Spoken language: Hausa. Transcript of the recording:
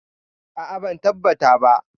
A'a ban tabbata ba.